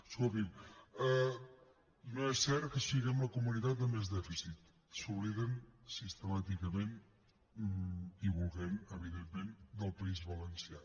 escolti no és cert que siguem la comunitat amb més dèficit s’obliden sistemàticament i volent evidentment del país valencià